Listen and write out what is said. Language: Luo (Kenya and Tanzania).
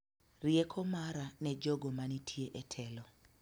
Rieko mara ne jogo manitie e telo